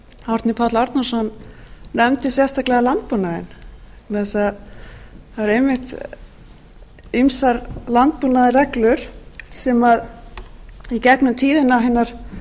árni páll árnason nefndi sérstaklega landbúnaðinn vegna þess að það eru einmitt ýmsar landbúnaðarrreglur sem í gegnum tíðina hinar